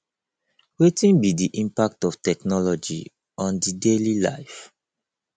wetin be di impact of technology on di daily life